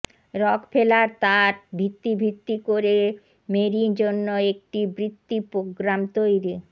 Rockefeller তার ভিত্তি ভিত্তি করে মেরি জন্য একটি বৃত্তি প্রোগ্রাম তৈরি